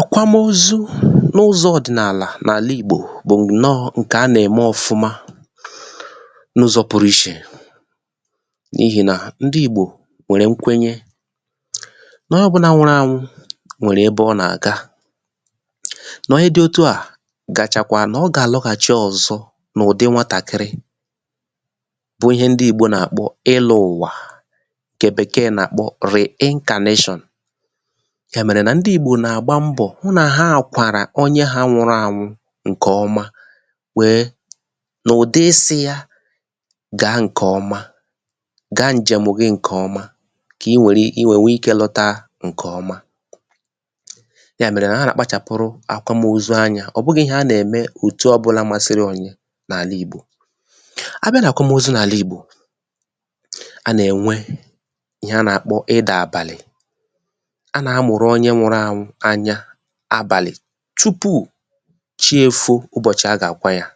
àkwamozu n’ụzọ̄ ọ̀dịnàlà n’àla ìgbo bụ̀ ǹnọ ǹkè a nà-ème ọ̀fụma n’ụzọ̄ pụrụ ichè n’ihe nà ndị ìgbò nwèrè nkwenye nà onye ọ̀bụnà nwụrụ ànwụ nwèrè ebe ọ nà-àga nà onye dī otu à gachakwa nà ọ gà-àlọghàchị ọ̀zọ n’ụdị nwatàkịrị bụ ihe ndị ìgbò nà-àkpọ ilū ụ̀wà ǹkè bèkee nà-àkpọ reincarnation yà mèrè nan dị ìgbò nà-àgba mbọ hụ nà ha kwàrà onyē ha nwụrụ ànwụ ǹkè ọma wee n’ụ̀dị isi ya gaa ǹkè ọma gaa ǹjèm gi ǹkè ọma kà i wère i wee nwee ikē lọta ǹkè ọma yà mèrè nà ha nà-àkpachàpụrụ àkwamozu anya ọ̀ bụghị̄ ihe a nà-ème òtù ọbụna masịrị inyē n’àla ìgbò abịa nà àkwamozu n’àla ìgbò a nà-ènwe ihe a na-àkpọ ịdà àbàlị̀ a nà-amụ̀rụ̀ onye nwụrụ ànwụ anya àbàlị̀ tupu chi èfo ụbọ̀chị a gà-àkwa ya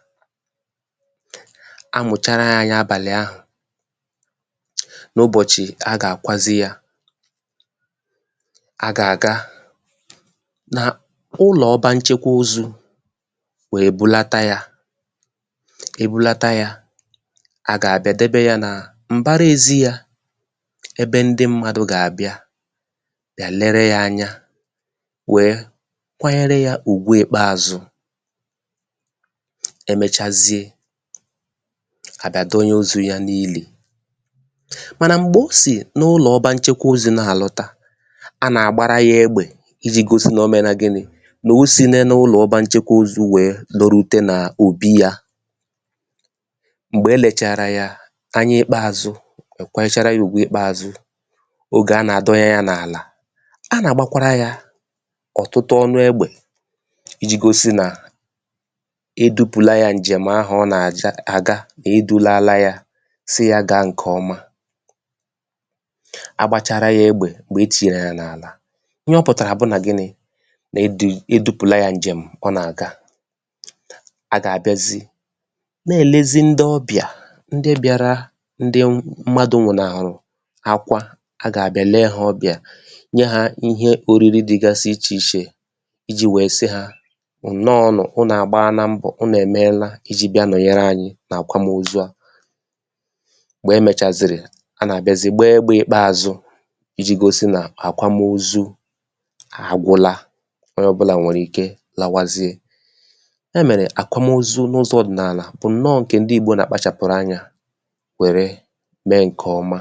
amụ̀chara yā anya abàlị ahụ̀ n’ụbọ̀chị a gà-àkwazị yā a gà-àga na ụlọ̀ ọba nchekwa ozū wee bulata yā e bulata ya a gà-àbịa dobe yā nà m̀bara èzi yā ebe ndị mmadụ̀ gà-àbịa èlere ya anya wee kwanyere yā ugwu ikpeàzụ e mechazie e mechazieà bịa donye ozū ya n’ilì mànà m̀gbe o sì n’ụlọ̀ ọba nchekwa ozū na-àlọta a nà-àgbara yā egbè ijī gosi na o mena gini nà o sina n’ụlọ̀ ọba nchekwa ozū wee lorute nà òbi ya m̀gbè e lèchàrà ya anya ìkpeàzụ kwanyechara yā ugwu ikpeàzụ oge a nà-àdonye ya n’àlà a nà-àgbakwara yā ọ̀tụtụ ọnụ egbè ijī gosi nà e dupùla yā ǹjem ahụ ọ nà-àga è dulala ya si ya gaaa ǹkè ọma agbāchara yā egbè m̀gbè e tire ya n’àlà ihe ọ pụ̀tàrà bụ nà ginī nà edu edūpùla ya ǹjem ọ nà-àga a gà-àbịazị na-èlezi ndị ọbịà ndị bịara ndị mmadụ wùna hùrù akwa a gà-àbịa lee ha ọbịà nye hā ihe òriri dịgasị ichè ichè ijī wee si ha ǹnọ nu unù àgbala mbọ̀ unù èmela ijī wee nọ̀nyere anyị̄ n’àkwamozu à m̀gbè e mèchàzìrì a nà-àbịazị gbaa egbē ìkpeàzụ ijī gosi nà àkwamozu àgwụla onye ọ̀bụlà nwèrè ike lawazie ya mèrè àkwamozu n’ụzọ̄ ọ̀dịnàlà bụ ǹnọ ǹkè ndị ìgbo nà-àkpachàpụrụ anuā wère mee ǹkè ọma